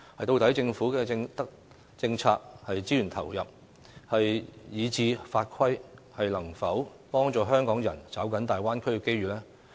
究竟政府的政策、資源投入以至法規，能否幫助香港人抓緊大灣區的機遇？